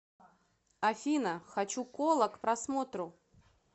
афина хочу кола к просмотру